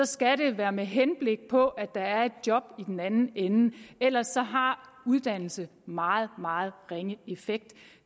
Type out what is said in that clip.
skal være med henblik på at der er et job i den anden ende ellers har uddannelse meget meget ringe effekt